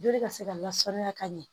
Joli ka se ka lasaniya ka ɲɛ